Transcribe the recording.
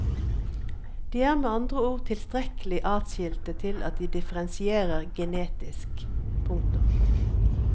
De er med andre ord tilstrekkelig atskilte til at de differensierer genetisk. punktum